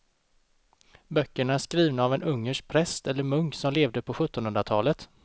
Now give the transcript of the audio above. Böckerna är skrivna av en ungersk präst eller munk som levde på sjuttonhundratalet.